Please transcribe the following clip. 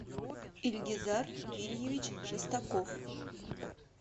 ильгизар вильевич шестаков